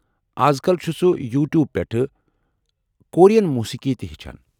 اَز کل چُھ سُہ یوٗ ٹیوٗبہٕ پٮ۪ٹھہٕ کورین موٗسیٖقی تہ ہیٚچھان۔